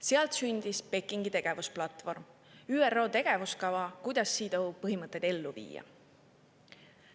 Sealt sündis Pekingi tegevusplatvorm, ÜRO tegevuskava, kuidas CEDAW põhimõtteid ellu viia.